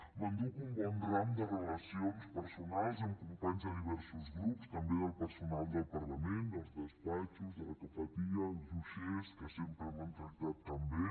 m’enduc un bon ram de relacions personals amb companys de diversos grups també del personal del parlament dels despatxos de la cafeteria els uixers que sempre m’han tractat tan bé